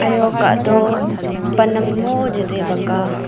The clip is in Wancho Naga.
iyo kah to pan am mo chetai bak a.